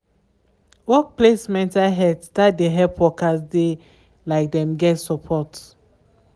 workplace mental health start de help workers de like dem get support.